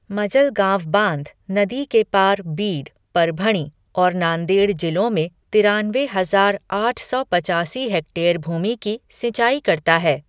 मजलगाँव बाँध, नदी के पार, बीड, परभणी और नांदेड़ जिलों में तिरानवे हजार आठ सौ पचासी हेक्टेयर भूमि की सिंचाई करता है।